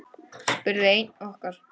spurði einn okkar.